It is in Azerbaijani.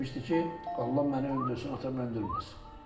Onda demişdi ki, Allah məni öldürsün, atam öldürməsin.